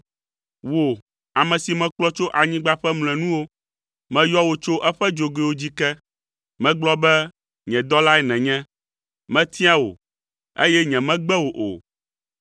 Wò, ame si mekplɔ tso anyigba ƒe mlɔenuwo, meyɔ wò tso eƒe dzogoewo dzi ke. Megblɔ be, ‘Nye dɔlae nènye.’ Metia wò, eye nyemegbe wò o,